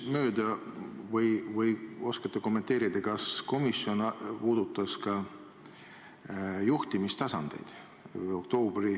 Mul libises kõrvust mööda, kas komisjon puudutas ka juhtimistasandeid.